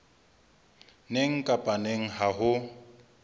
neng kapa neng ha ho